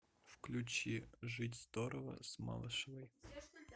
включи жить здорово с малышевой